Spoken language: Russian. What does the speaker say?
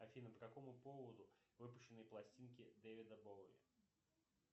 афина по какому поводу выпущены пластинки дэвида боуи